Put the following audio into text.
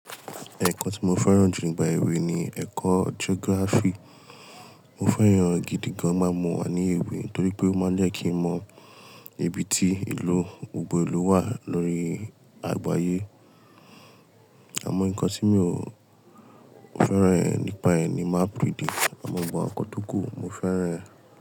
Ẹ̀kọ́ tí mo fẹ́ràn jù nígbà ewé ni ẹ̀kọ́ geography. Mo fẹ́ran e gidi gan nígbà mo wà ní ewé torí pé ó máa ń jẹ́ kí n mọ ibi tí ìlú, gbogbo ìlú wà lórí àgbáyé. Àmọ́ nǹkan tí mi ò fẹ́ràn e nípa ẹ̀ ni map reading àmọ́ gbogbo àwọn ǹnkan tókù mo fẹ́ràn ẹ́.